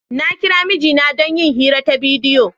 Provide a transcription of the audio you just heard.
Na kira mijina don yin hira ta bidiyo.